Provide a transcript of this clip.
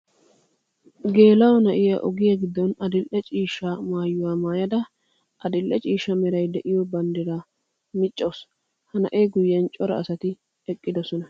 Geela'o na'iya ogiya giddon adli'e ciishsha maayuwa maayada adli'e ciishsha meray de'iyo banddira miccawusu. Ha na'e guyyen cora asati eqqidosona.